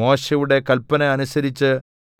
മോശെയുടെ കല്പന അനുസരിച്ച്